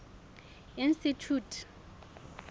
institjhute